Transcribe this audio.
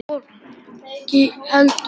Reyndar ekki fólkið heldur.